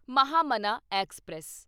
Mahamana express